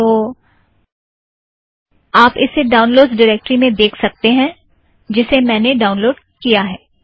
तो आप इसे ड़ाउनलोड़स ड़िरेक्टरी में देख सकते हो जिसमें मैंने ड़ाउनलोड़ किया है